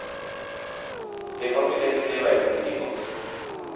Det kan vi lett se i verden omkring oss.